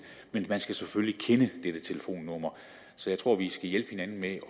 men man skal selvfølgelig kende dette telefonnummer så jeg tror at vi skal hjælpe hinanden med at